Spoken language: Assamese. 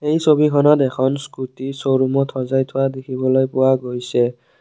এই ছবিখনত এখন স্কুটী শ্ব'ৰুমত সজাই থোৱা দেখিবলৈ পোৱা গৈছে।